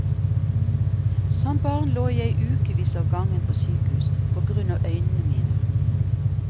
Som barn lå jeg i ukevis av gangen på sykehus på grunn av øynene mine.